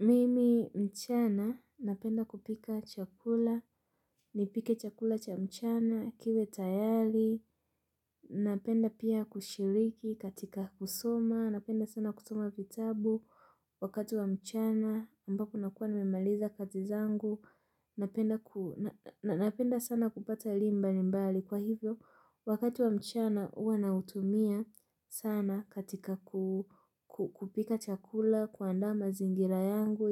Mimi mchana, napenda kupika chakula, nipike chakula cha mchana, kiwe tayari, napenda pia kushiriki katika kusoma, napenda sana kusoma vitabu wakati wa mchana, ambapo nakuwa nimemaliza kazi zangu, napenda sana kupata elim mbali mbali. Kwa hivyo, wakati wa mchana uwa nautumia sana katika kupika chakula kuandaa mazingira yangu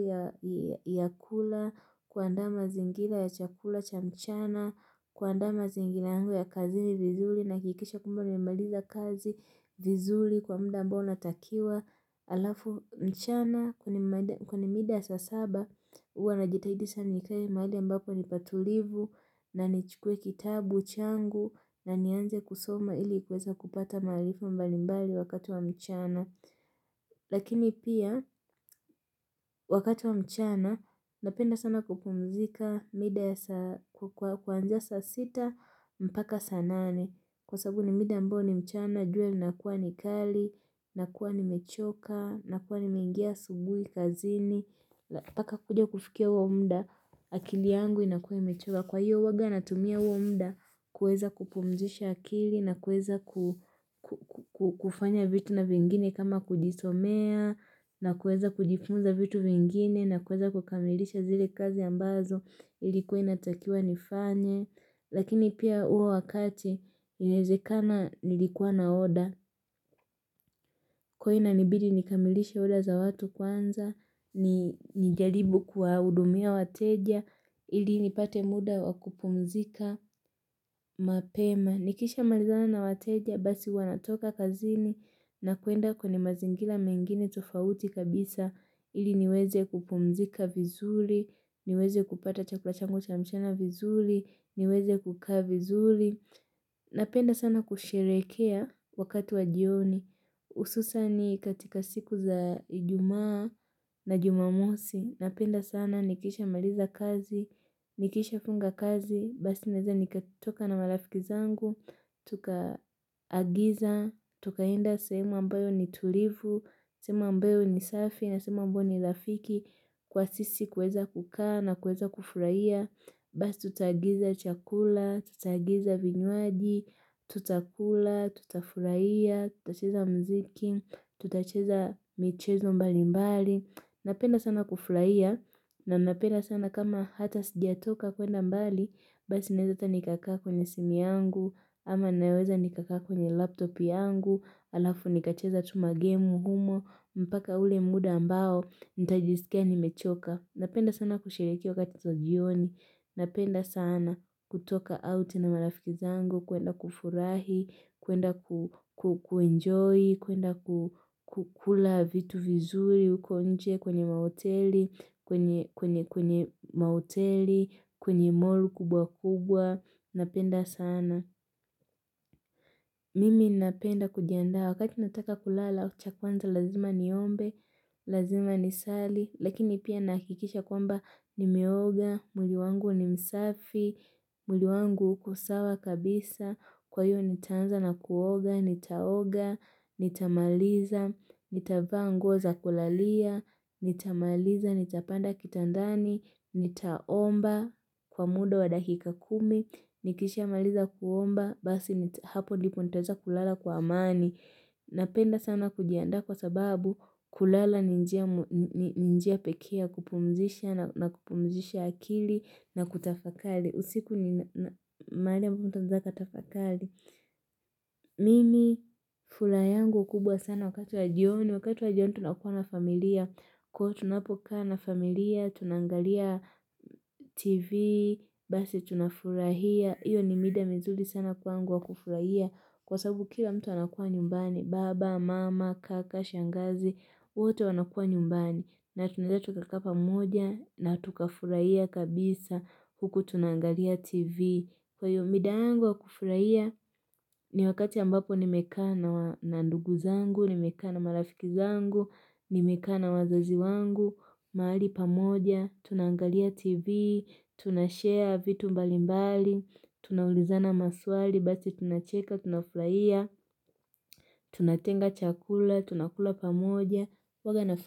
ya kula, kuandaa mazingira ya chakula cha mchana, kuaandaa mazingira yangu ya kazini vizuli naakikisha kwamba nimemaliza kazi vizuli kwa mda ambao natakiwa alafu mchana. Kwa ni mida ya saa saba uwa najitahidi sana nikae mahali ambapo ni patulivu na nichukue kitabu changu na nianze kusoma ili kuweza kupata maalifa mbalimbali wakati wa mchana. Lakini pia wakati wa mchana napenda sana kupumzika mida ya sa kuanzia saa sita mpaka saa nane. Kwa sababu ni mida ambayo ni mchana, jua linakuwa ni kali, nakuwa nimechoka, nakuwa nimeingia asubui kazini ppaka kuja kufikia uo mda, akili yangu inakuwa imechoka Kwa hiyo huaga natumia uo mda kueza kupumzisha akili, na kueza kufanya vitu na vingine kama kujitomea na kueza kujifunza vitu vingine, na kueza kukamilisha zile kazi ambazo ilikuwa inatakiwa nifanye Lakini pia uo wakati yaezekana nilikuwa na order Kwaio inanibidi nikamilishe order za watu kwanza Nijalibu kuwaudumia wateja ili nipate muda wa kupumzika mapema Nikishamalizana na wateja basi huwa natoka kazini na kuenda kwenye mazingila mengine tofauti kabisa ili niweze kupumzika vizuli niweze kupata chakula changu cha mchana vizuli niweze kukaa vizuli Napenda sana kusherekea wakati wa jioni Ususani katika siku za ijumaa na jumamosi Napenda sana nikishamaliza kazi, nikishafunga kazi Basi naeza nikatoka na marafiki zangu Tuka agiza, tukaenda sehemu ambayo ni tulivu sehemu ambayo ni safi na sehemu ambayo ni lafiki Kwa sisi kuweza kukaa na kuweza kufuraia Basi tutaagiza chakula, tutaagiza vinywaji, tutakula, tutafuraia, tutacheza mziki, tutacheza michezo mbali mbali Napenda sana kufuraia na napenda sana kama hata sijatoka kuenda mbali Basi naeza ata nikakaa kwenye simu yangu, ama naweza nikakaa kwenye laptop yangu Alafu nikacheza tu magemu humo, mpaka ule muda ambao, nitajisikia nimechoka Napenda sana kushiriki wakati so jioni, napenda sana kutoka out na marafiki zangu, kuenda kufurahi, kuenda kuenjoy, kuenda kukula vitu vizuri uko nje kwenye maoteli, kwenye mall kubwa kubwa, napenda sana. Mimi ninapenda kujiandaa wakati nataka kulala cha kwanza lazima niombe, lazima nisali, lakini pia nahakikisha kwamba nimeoga, mwili wangu ni msafi, mwili wangu uko sawa kabisa, kwaio nitaanza na kuoga, nitaoga, nitamaliza, nitavaa nguo za kulalia, nitamaliza, nitapanda kitandani, nitaomba kwa muda wa dakika kumi, Nikishamaliza kuomba, basi hapo ndipo nitaeza kulala kwa amani Napenda sana kujiandaa kwa sababu kulala ni njia pekee ya kupumzisha na kupumzisha akili na kutafakali usiku ni maali ambapo mtu anaeza akatafakali Mimi fula yangu kubwa sana wakati wa jioni, wakati wa jioni tunakuwa na familia Kwaio tunapokaa na familia, tunaangalia tv, basi tunafurahia Iyo ni mida mizuli sana kwangu wa kufurahia kwa sababu kila mtu anakuwa nyumbani. Baba, mama, kaka, shangazi, wote wanakuwa nyumbani. Na tunaeza tukakaa pamoja na tukafurahia kabisa huku tunangalia tv. Kwaio mida yangu wa kufurahia ni wakati ambapo nimekaa na ndugu zangu, nimekaa na marafiki zangu, nimekaa na wazazi wangu. Mahali pamoja, tunaangalia tv, tunashare vitu mbali mbali, tunaulizana maswali, basi tunacheka, tunaflaia, tunatenga chakula, tunakula pamoja.